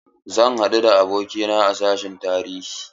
Zan haɗu da abokina a sashin tarihi.